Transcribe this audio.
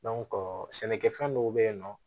sɛnɛkɛfɛn dɔw bɛ yen nɔ